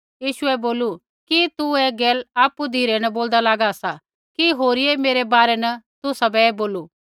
यीशुऐ बोलू कि तू ऐ गैल आपु धिरै न बोल्दा लागा सा कि होरिये मेरै बारै न तुसाबै ऐ बोलू